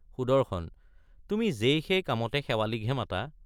সুদৰ্শন—তুমি যেই সেই কামতে শেৱালিকহে মাতা?